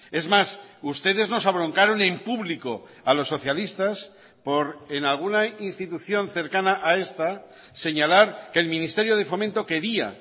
es más ustedes nos abroncaron en público a los socialistas por en alguna institución cercana a esta señalar que el ministerio de fomento quería